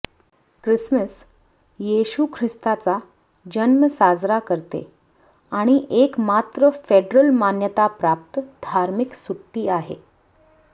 Christmas येशू ख्रिस्ताचा जन्म साजरा करते आणि एकमात्र फेडरल मान्यताप्राप्त धार्मिक सुट्टी आहे